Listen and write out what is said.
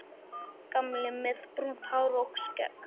Gamli, með brúnt hár og skegg.